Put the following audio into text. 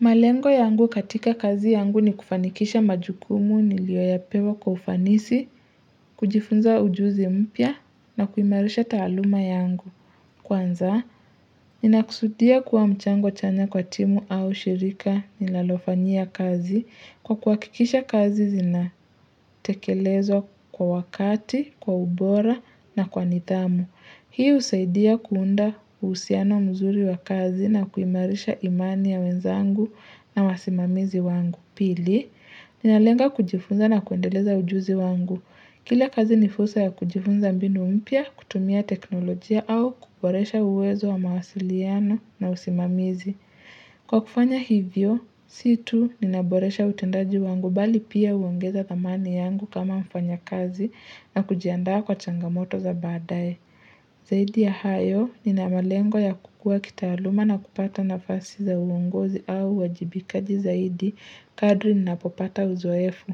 Malengo yangu katika kazi yangu ni kufanikisha majukumu nilioyapewa kwa ufanisi, kujifunza ujuzi mpya na kuimarisha taaluma yangu. Kwanza, ninakusudia kuwa mchango chanya kwa timu au shirika nilalofanyia kazi kwa kuhakikisha kazi zinatekelezwa kwa wakati, kwa ubora na kwa nidhamu. Hii husaidia kuunda uhusiano mzuri wa kazi na kuimarisha imani ya wenzangu na wasimamizi wangu. Pili, ninalenga kujifunza na kuendeleza ujuzi wangu. Kila kazi ni fursa ya kujifunza mbinu mpya, kutumia teknolojia au kuboresha uwezo wa mawasiliano na usimamizi. Kwa kufanya hivyo, si tu ninaboresha utendaji wangu bali pia huongeza dhamani yangu kama mfanyakazi na kujiandaa kwa changamoto za badaaye. Zaidi ya hayo, nina malengo ya kukuwa kitaaluma na kupata nafasi za uongozi au uajibikaji zaidi, kadri ninapopata uzoefu.